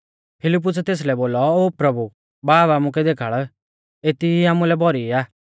फिलिप्पुसै तेसलै बोलौ ओ प्रभु बाब आमुकै देखाल़ एती ई आमुलै भौरी आ